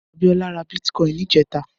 Abiola rà bitkòin nijètá